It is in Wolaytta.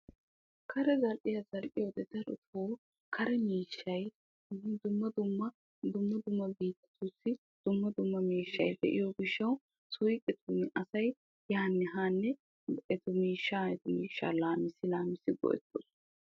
Karee zal'iya wode darotto dumma dumma biittatussi dumma miishshay de'iyo gishawu suyqqettun etta miishsha go'ettosonna.